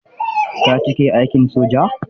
Ka cike aikin soja.